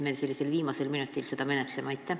Miks me seda viimasel minutil menetleme?